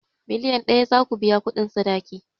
Miliyan ɗaya zaku biya kuɗin sadaki